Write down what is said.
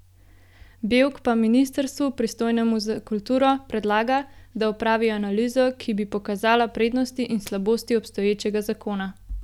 Bevk pa ministrstvu, pristojnemu za kulturo, predlaga, da opravi analizo, ki bi pokazala prednosti in slabosti obstoječega zakona.